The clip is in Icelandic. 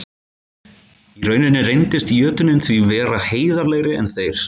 Í rauninni reyndist jötunninn því vera heiðarlegri en þeir.